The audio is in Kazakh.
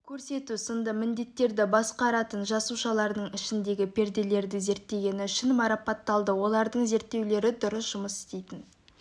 көрсету сынды міндеттерді басқаратын жасушалардың ішіндегі перделерді зерттегені үшін марапатталды олардың зерттеулері дұрыс жұмыс істейтін